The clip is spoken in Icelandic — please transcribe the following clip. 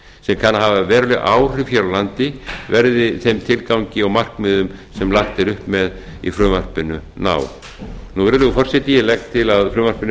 kann að hafa veruleg áhrif hér á landi verði þeim tilgangi og markmiðum sem lagt er upp með í frumvarpinu náð virðulegi forseti ég legg til að frumvarpinu verði